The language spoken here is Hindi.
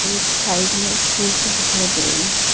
एक साइड में एक पेड़ भी दिखाई दे रही--